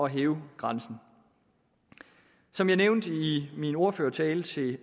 hæve grænsen som jeg nævnte i min ordførertale til